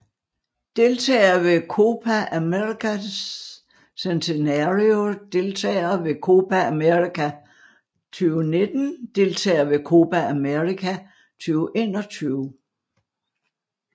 Deltagere ved Copa América Centenario Deltagere ved Copa América 2019 Deltagere ved Copa América 2021